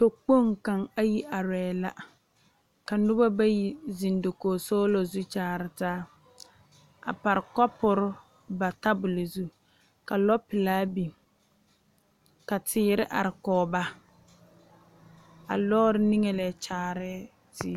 Tɔkpoŋ kaŋ arɛɛ la ka noba bayi zeŋ dakoo zu a kyaare taa a pare kapuri ba tabol zu ka lɔpelaa biŋ ka teere are kɔge ba a lɔɔre niŋe leɛ kyaare ziyuo